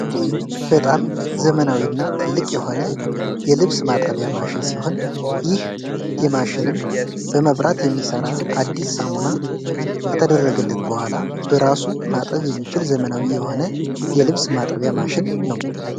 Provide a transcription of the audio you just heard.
በጣም ዘመናዊና ትልቅ የሆነ የብስ ማጠቢያ ማሽን ሲሆን ይህ የማሽንም በመብራት የሚሠራ አዲስ ሳሙና ከተደረገለት በኋላ በራሱ ማጠብ የሚችል ዘመናዊ የሆነ የልብስ ማጠቢያ ማሽን ነው ።